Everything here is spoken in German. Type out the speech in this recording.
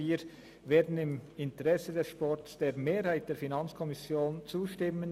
Wir werden im Interesse des Sports der Mehrheit der FiKo zustimmen.